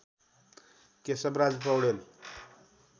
Keshavraj Paudel